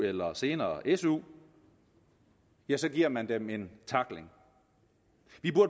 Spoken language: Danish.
eller senere af su ja så giver man dem en tackling